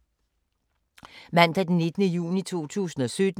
Mandag d. 19. juni 2017